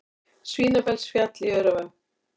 Svínafellsfjall í Öræfum.